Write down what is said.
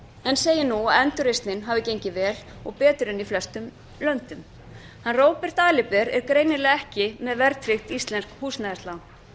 en segir nú að endurreisnin hafi gengið vel og betur en í flestum öðrum löndum róbert aliber er greinilega ekki með verðtryggt íslenskt húsnæðislán